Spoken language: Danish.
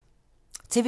TV 2